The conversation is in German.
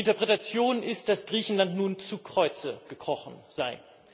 Die Interpretation ist, dass Griechenland nun zu Kreuze gekrochen sei.